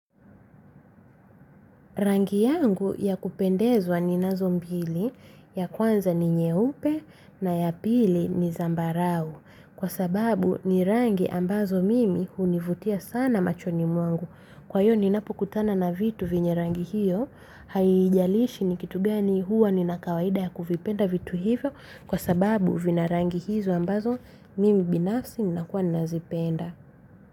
Rangi yangu ya kupendezwa ninazo mbili. Ya kwanza ni nyeupe, na ya pili ni zambarau, kwa sababu ni rangi ambazo mimi hunivutia sana machoni mwangu. Kwa hiyo ninapokutana na vitu vyenye rangi hiyo, haijalishi ni kitu gani, huwa nina kawaida ya kuvipenda vitu hivyo kwa sababu vina rangi hizo ambazo mimi binafsi ninakuwa nazipenda.